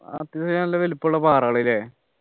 അത്രക്ക് നല്ല വലിപ്പമുള്ള പാറകള് അല്ലെ